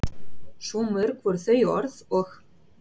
Svo mörg voru þau orð og